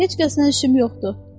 Heç kəsnən işim yoxdur.